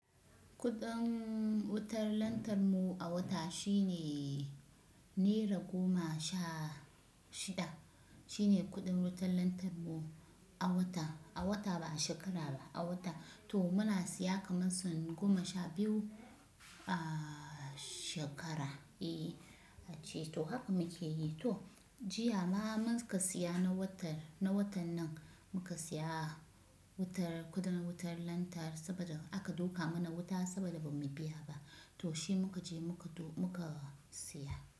Kudin wutar lantar mu a wata shine naira goma sha shida. Shine kudin wutar lantar mu a wata, a wata ba a shekara ba, a wata. To muna siya kamar sun goma sha biyu a shekara. E, ce to haka muke yi. To jiya ma muka siya na watan, na watan nan muka siya wutar, kudin wutar lantar saboda aka duka mana wuta saboda bamu biya ba, to shi muka je muka siya.